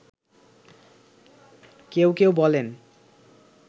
কেউ কেউ বলেন